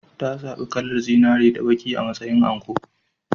Ta zaɓi kalar zinare da baƙi a matsayin anko.